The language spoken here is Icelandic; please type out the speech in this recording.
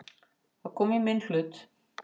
Það kom í minn hlut.